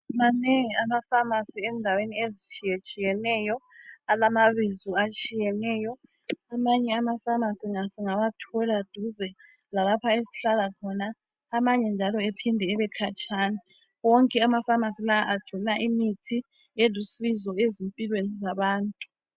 Manengi ama pharmacy endaweni ezitshiyetshiyeneyo alamabizo atshiyeneyo amanye ama pharmacy siwathola duze lalapha esihlala khona amanye njalo ephinde ebe khatshana wonke ama pharmacy lawa agcina imithi elusizo empilweni zabantu.